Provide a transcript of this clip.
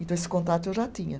Então, esse contato eu já tinha.